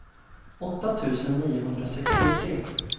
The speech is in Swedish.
åtta tusen niohundrasextiotre